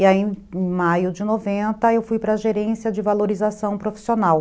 E aí em maio de noventa eu fui para a gerência de valorização profissional.